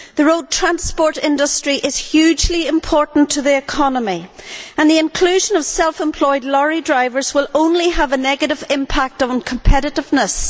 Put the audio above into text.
The road transport industry is hugely important to the economy and the inclusion of self employed lorry drivers will only have a negative impact on competitiveness.